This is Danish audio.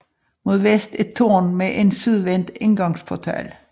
Mod vest et tårn med en sydvendt indgangsportal